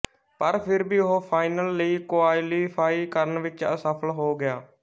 ਪਰ ਫਿਰ ਵੀ ਉਹ ਫਾਈਨਲ ਲਈ ਕੁਆਲੀਫਾਈ ਕਰਨ ਵਿੱਚ ਅਸਫਲ ਹੋ ਗਿਆ